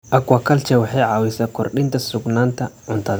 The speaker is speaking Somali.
Aquaculture waxay caawisaa kordhinta sugnaanta cuntada.